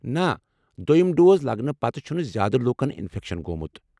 نہ، دۄیم ڈوز لگنہٕ پتہٕ چھٗنہٕ زیادٕ لوٗکَن انفیکشن گوٚومُت۔